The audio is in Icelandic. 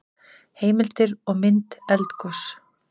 Heimildir og mynd Eldgos.